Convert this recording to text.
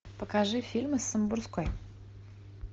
покажи фильмы с самбурской